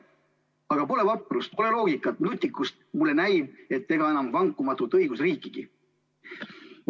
/---/ Pole vaprust, loogikat, nutikust – mulle näib, et ega enam vankumatut õigusriikigi.